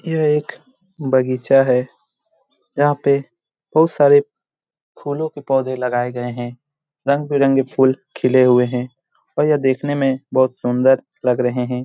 यह एक बगीचा है। यहाँ पे बहुत सारे फूलों के पौधे लगाए गए हैं रंग-बिरंगे फूल खिले हुए हैं और यह देखने में बहुत सुंदर लग रहें हैं।